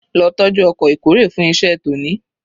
Lo tọ́jú ọkọ̀ ìkórè fún iṣẹ́ tòní